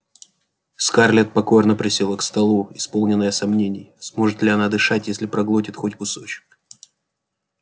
скарлетт покорно присела к столу исполненная сомнений сможет ли она дышать если проглотит хоть кусочек